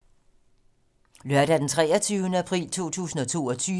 Lørdag d. 23. april 2022